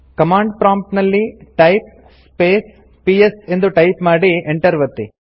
command prompt ನಲ್ಲಿ type space PS ಎಂದು type ಮಾಡಿ ಎಂಟರ್ ಒತ್ತಿ